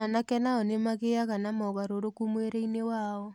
Anake nao nĩ magĩaga na mogarũrũku mwĩrĩ-inĩ wao.